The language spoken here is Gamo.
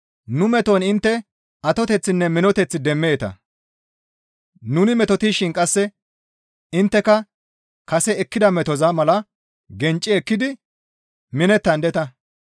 Nu meton intte atoteththinne minoteth demmeeta; nuni metotishin qasse intteka kase ekkida metoza mala gencci ekkidi minettandeta.